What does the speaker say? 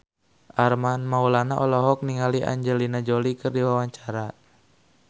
Armand Maulana olohok ningali Angelina Jolie keur diwawancara